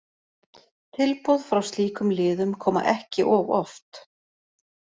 Tilboð frá slíkum liðum koma ekki of oft.